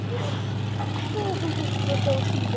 Hvað á þetta þá að þýða?